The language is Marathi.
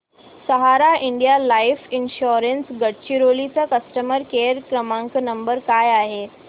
सहारा इंडिया लाइफ इन्शुरंस गडचिरोली चा कस्टमर केअर नंबर काय आहे